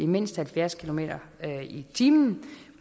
mindst halvfjerds kilometer per time